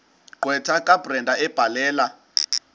gqwetha kabrenda ebhalela